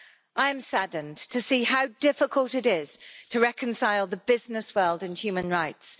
I am saddened to see how difficult it is to reconcile the business world and human rights.